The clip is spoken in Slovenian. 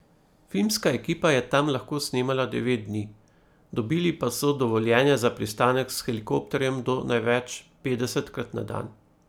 Filmska ekipa je tam lahko snemala devet dni, dobili pa so dovoljenje za pristanek s helikopterjem do največ petdesetkrat na dan.